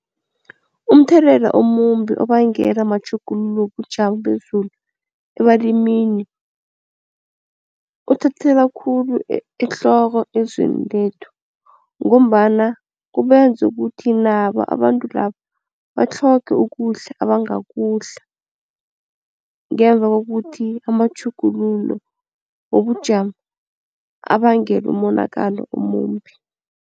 Umthelela omumbi obangelwa matjhuguluko wobujamo bezulu ebalimini, uthathelwa khulu ehloko ezweni lethu ngombana kubenza ukuthi nabo abantu labo batlhoge ukudla abangakudla, ngemva kokuthi amatjhuguluko wobujamo abange umonakalo omumbi.